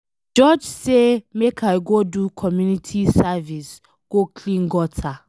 The judge say make I go do community service go clean gutter.